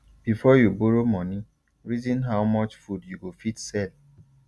before you borrow moni reason how much food you go fit sell